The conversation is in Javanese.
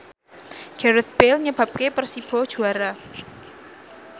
Gareth Bale nyebabke Persibo juara